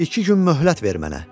İki gün möhlət ver mənə.